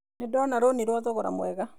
Nĩ ndona rũni rwa thogora mwega.